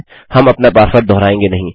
हम अपना पासवर्ड दोहराएँगे नहीं